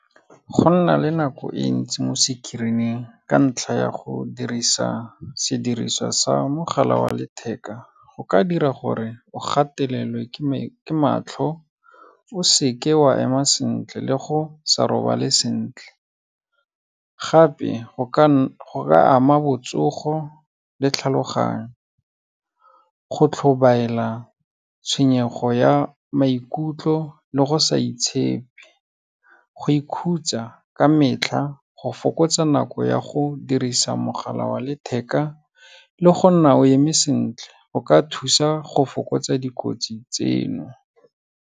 Go nna le nako e ntsi mo screen-ing ka ntlha ya go dirisa sediriswa sa mogala wa letheka, go ka dira gore o gatelelwe ke matlho, o seke wa ema sentle le go sa robale sentle, gape go ka ama botsogo le tlhaloganyo, go tlhobaela, tshwenyego ya maikutlo le go sa itshepe, go ikhutsa ka metlha, go fokotsa nako ya go dirisa mogala wa letheka le go nna o eme sentle, go ka thusa go fokotsa dikotsi tseno.